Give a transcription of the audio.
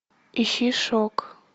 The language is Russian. ищи шок